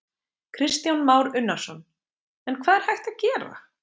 Kristján Már Unnarsson: En hvað er hægt að gera?